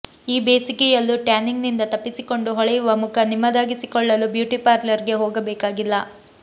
ಈ ಬೇಸಿಗೆಯಲ್ಲೂ ಟ್ಯಾನಿಂಗ್ ನಿಂದ ತಪ್ಪಿಸಿಕೊಂಡು ಹೊಳೆಯುವ ಮುಖ ನಿಮ್ಮದಾಗಿಸಿಕೊಳ್ಳಲು ಬ್ಯೂಟಿ ಪಾರ್ಲರ್ ಗೆ ಹೋಗಬೇಕಾಗಿಲ್ಲ